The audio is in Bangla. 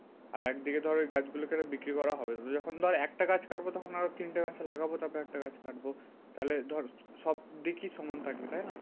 আর একদিকে ধর ওই গাছগুলোকে কেটে বিক্রি করা হবে। তুই যখন ধর একটা গাছ কাটবো তখন আরও তিনটে গাছ লাগাবো তবে একটা গাছ কাটবো। তাহলে ধর সব দিকই সমান থাকবে তাইনা?